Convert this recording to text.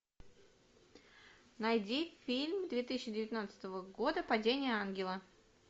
найди фильм две тысячи девятнадцатого года падение ангела